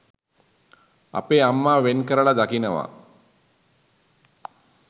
අපේ අම්මා වෙන්කරලා දකිනවා.